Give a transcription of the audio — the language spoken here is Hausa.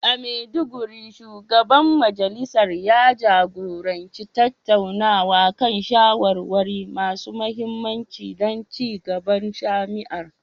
A Maiduguri, Shugaban Majalisar ya jagoranci tattaunawa kan shawarwari masu mahimmanci don ci gaban jami'ar.